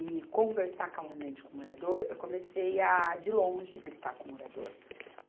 e conversar calmamente com o morador, eu comecei a, de longe, gritar com o morador.